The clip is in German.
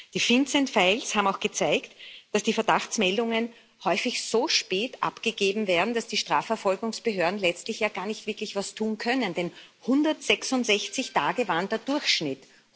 Die FinCEN Files haben auch gezeigt, dass die Verdachtsmeldungen häufig so spät abgegeben werden, dass die Strafverfolgungsbehörden letztlich ja gar nicht wirklich was tun können, denn 166 Tage waren der Durchschnitt.